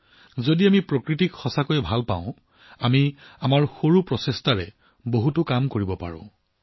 প্ৰকৃতিক যদি আমি সঁচাকৈয়ে ভাল পাওঁ তেন্তে আমাৰ সামান্য পৰিশ্ৰমেৰেও আমি বহু কাম কৰিব পাৰো